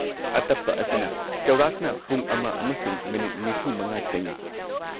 ꯑꯇꯞꯄ ꯑꯁꯤꯅ ꯆꯧꯔꯥꯛꯅ ꯄꯨꯡ ꯑꯃ ꯑꯃꯁꯨꯡ ꯃꯤꯅꯤꯠ ꯴꯵ ꯆꯪꯏ꯫